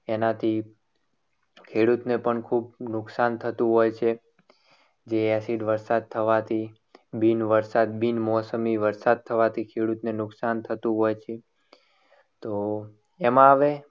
એનાથી ખેડૂતને પણ ખૂબ નુકસાન થતું હોય છે. કે acid વરસાદ થવાથી બિન વરસાદની વરસાદ થવાથી ખેડૂતને નુકસાન થતું હોય છે. તો એમાં હવે